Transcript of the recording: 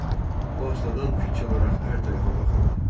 O astadan fikir alaraq hər tərəfə baxırdı.